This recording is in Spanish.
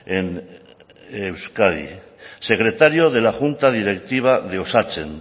en euskadi secretario de la junta directiva de osatzen